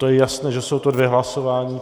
To je jasné, že jsou to dvě hlasování.